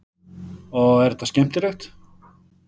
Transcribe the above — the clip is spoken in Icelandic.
Og er þetta skemmtilegt?